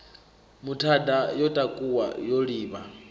muthada ya takuwa yo livha